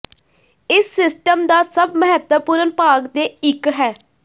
ਇਸ ਸਿਸਟਮ ਦਾ ਸਭ ਮਹੱਤਵਪੂਰਨ ਭਾਗ ਦੇ ਇੱਕ ਹੈ